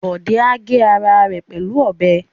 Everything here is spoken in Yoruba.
Bọ̀dé á gé ara rẹ pẹ̀lú ọbẹ̀